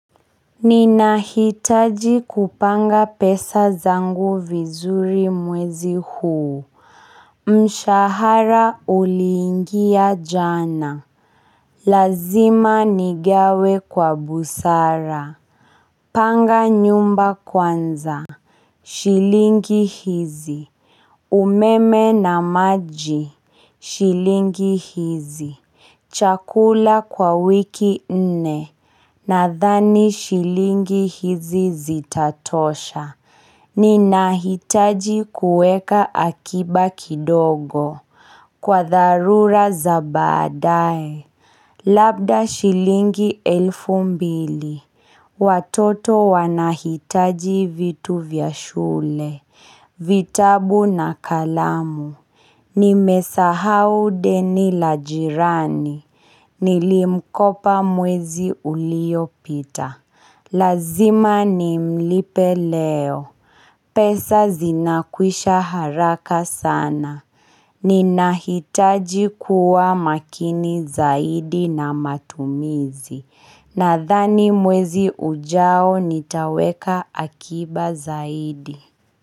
Ninahitaji kupanga pesa zangu vizuri mwezi huu Mshahara uliingia jana Lazima nigawe kwa busara Panga nyumba kwanza shilingi hizi umeme na maji shilingi hizi Chakula kwa wiki nne Nadhani shilingi hizi zitatosha. Ninahitaji kueka akiba kidogo. Kwa dharura za baadae Labda shilingi elfu mbili. Watoto wanahitaji vitu vya shule. Vitabu na kalamu. Nimesahau deni la jirani. Nilimkopa mwezi ulio pita. Lazima nimlipe leo pesa zinakwisha haraka sana Ninahitaji kuwa makini zaidi na matumizi Nadhani mwezi ujao nitaweka akiba zaidi.